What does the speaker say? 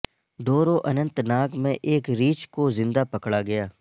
ڈورو Anantnag میں ایک ریچھ کو زندہ پکڑا گیا